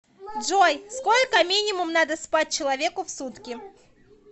джой сколько минимум надо спать человеку в сутки